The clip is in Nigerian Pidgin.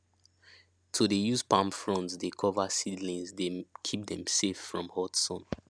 to dey using palm fronds dey cover seedlings dey keep dem safe from hot sun